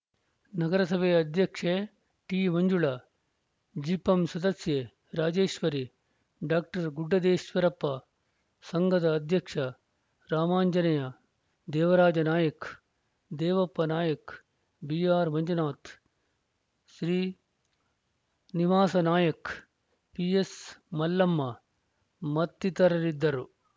ನಗರಸಭೆ ಅಧ್ಯಕ್ಷೆ ಟಿಮಂಜುಳ ಜಿಪಂ ಸದಸ್ಯೆ ರಾಜೇಶ್ವರಿ ಡಾಕ್ಟರ್ ಗುಡ್ಡದೇಶ್ವರಪ್ಪ ಸಂಘದ ಅಧ್ಯಕ್ಷ ರಾಮಾಂಜನೇಯ ದೇವರಾಜ ನಾಯಕ ದೇವಪ್ಪ ನಾಯಕ ಬಿಆರ್‌ಮಂಜುನಾಥ್‌ ಶ್ರೀ ನಿವಾಸನಾಯಕ ಪಿಎಸ್‌ಮಲ್ಲಮ್ಮ ಮತ್ತಿತರರಿದ್ದರು